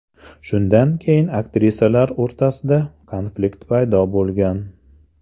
Shundan keyin aktrisalar o‘rtasida konflikt paydo bo‘lgan.